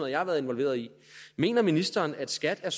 jeg har været involveret i mener ministeren at skat er